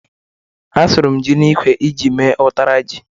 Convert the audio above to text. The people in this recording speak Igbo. Asụrụ m ji n'ikwe iji mee ụtara ji.